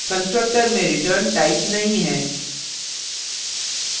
constructor में return type नहीं है